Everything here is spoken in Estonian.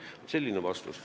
Vaat selline vastus.